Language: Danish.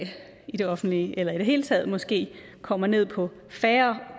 i det offentlige eller at vi i det hele taget måske kommer ned på færre